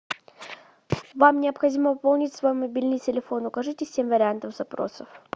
вам необходимо пополнить свой мобильный телефон укажите семь вариантов запросов